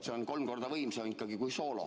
See on kolm korda võimsam kui soolo.